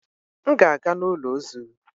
M ga-aga n'ụlọ ozu.